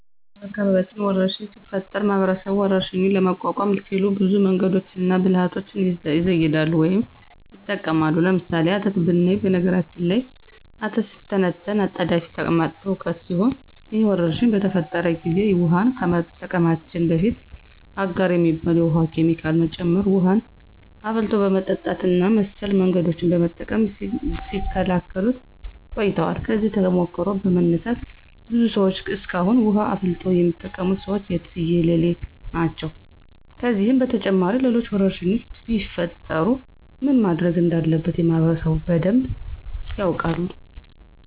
በአካባቢያችን ወረርሽኝ ሲፈጠር ማህበረሰቡ ወረርሽኙን ለመቋቋም ሲሉ ብዙ መንገዶችንና ብልሀቶችን ይዘይዳሉ ወይም ይጠቀማሉ። ለምሳሌ፦ አተት ብናይ በነገራችን ላይ አተት ሲተነተን አጣዳፊ ተቅማጥ ትውከት ሲሆን ይህ ወረርሽኝ በተፈጠረ ጊዜ ውሀን ከመጠቀማችን በፊት አጋር የሚባል የውሀ ኬሚካል መጨመር፣ ውሀን አፍልቶ በመጠጣት እና መሰል መንገዶችን በመጠቀም ሲከላከሉት ቆይተዋል። ከዚህ ተሞክሮ በመነሳት ብዙ ሰዎች እስካሁን ውሀን አፍልቶ የሚጠቀሙት ሰዎች የትየለሌ ናቸው። ከዚህም በተጨማሪ ሌሎች ወረርሽኞች ቢፈጠሩ ምን ማድረግ እንዳለበት ማህበረሰቡ በደንብ ያውቃል።